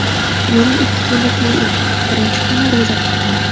Yo‘lim ikki kunlik yo‘l edi, birinchi kuni ro‘za tutdim.